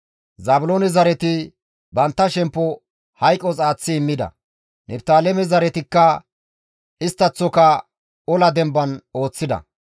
Zaabiloone zareti bantta shemppo hayqos aaththi immida. Niftaaleme zaretikka isttaththoka ola demban ooththida.